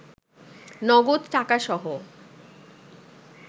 নগদ টাকাসহ